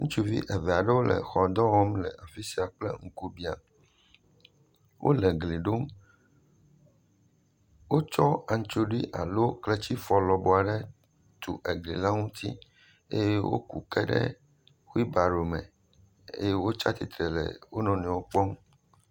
Ŋutsuvi eve aɖewo le xɔ dɔ wɔm le afi sia kple ŋkubiã, wole gli ɖom, wotsɔ antsrɔ alo kletifɔ lɔbɔɔ aɖe tu eglia ŋuti eye woku ke ɖe wheel barrow me eye wotsi atsitre le wo nɔewo kpɔm.